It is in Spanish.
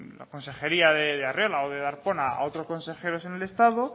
la consejería de arriola o de darpón a otros consejeros en el estado